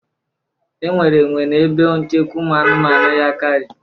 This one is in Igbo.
Enwere enwe na ebe nchekwa ụmụ anụmanụ Yankari